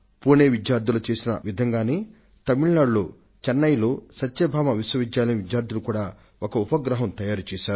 పుణె విద్యార్థుల కోవలోనే తమిళ నాడు లోని సత్యభామ యూనివర్సిటీ ఆఫ్ చెన్నై విద్యార్థులు కూడా వారు ఒక ఉపగ్రహాన్ని నిర్మించారు